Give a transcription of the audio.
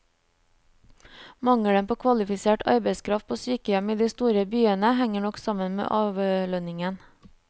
Mangelen på kvalifisert arbeidskraft på sykehjem i de store byene henger nok sammen med avlønningen.